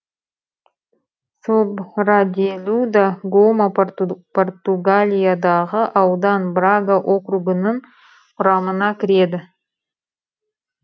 собраделу да гома португалиядағы аудан брага округінің құрамына кіреді